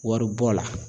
Wari bɔ la